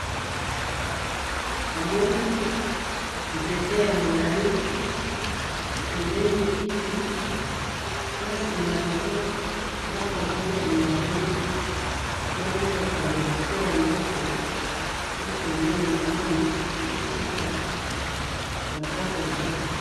namoni nzete ya molayi, pembeni kiti nasima yango ndako moko ya molayi, na mutuka liboso ya ndako, na pembeni namoni bazoteka fanta coca